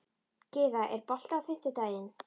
Gyða, er bolti á fimmtudaginn?